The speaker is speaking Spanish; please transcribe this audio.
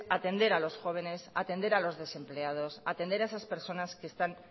atender a los jóvenes atender a los desempleados atender a esas personas que están